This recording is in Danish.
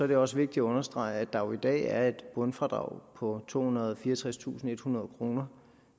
det også vigtigt at understrege at der jo i dag er et bundfradrag på tohundrede og fireogtredstusindethundrede kr